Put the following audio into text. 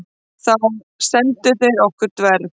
Þá sendu þeir okkur dverg.